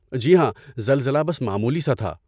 جی ہاں، زلزلہ بس معمولی سا تھا۔